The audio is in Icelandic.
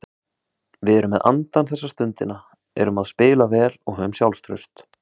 Og Erlendur Gunnarsson á Sturlureykjum í Borgarfirði afi Gerðar var annálaður hagleiks- og hugvitsmaður.